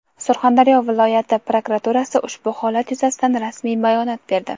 Surxondaryo viloyati prokuraturasi ushbu holat yuzasidan rasmiy bayonot berdi.